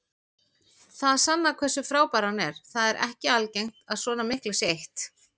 Það sannar hversu frábær hann er, það er ekki algengt að svona miklu sé eytt.